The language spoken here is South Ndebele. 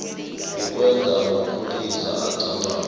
kukwenza amapholisa acabange